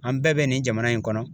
An bɛɛ be nin jamana in kɔnɔ